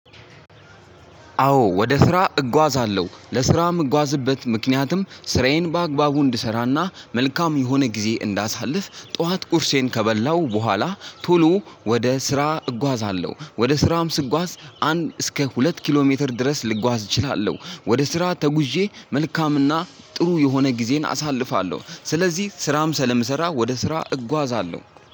አዎ ወደ ስራ እጓዛለሁ ለስራ የምጓዝበት ምክንያትም ስራዬን በአግባቡ እንድሰራና መልካም የሆነ ጊዜ እንዳሳልፍ ጠዋት ቁርሴን ከበላው በኋላ ቶሎ ወደ ስራ እጓዛለሁ ወደ ስራም ስጓዝ አንድ እስከ ሁለት ኪሎ ሜትር ድረስ ልጓዝ እችላለሁ ወደ ስራ ተጉዤ መልካምና ጥሩ የሆነ ጊዜን አሳልፋለሁ። ስለዚህ ስራም ስለምሰራ ወደ ስራ እጓዛለሁ።